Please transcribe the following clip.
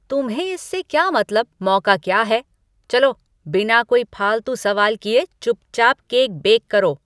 तुम्हें इससे क्या मतलब मौका क्या है, चलो बिना कोई फालतू सवाल किए चुपचाप केक बेक करो।